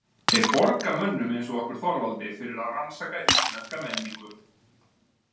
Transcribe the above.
Þeir borga mönnum eins og okkur Þorvaldi fyrir að rannsaka íslenska menningu.